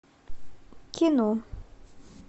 кино